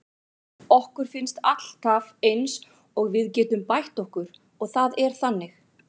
Okkur finnst alltaf eins og við getum bætt okkur og það er þannig.